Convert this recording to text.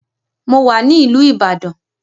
Mo wà ní ìlú ìbàdàn.